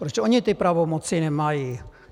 Proč oni ty pravomoci nemají?